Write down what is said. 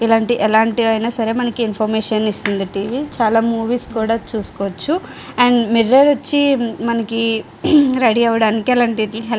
ఇలాంటి ఎలాంటి అయినా సరే మనకి ఇన్ఫర్మేషన్ ఇస్తుంది టీవీ చాలా మూవీస్ కూడా చూసుకోవచ్చు. అండ్ మిర్రర్ వచ్చి మనకి రెడీ అవ్వడానికి అలాంటి వాటి --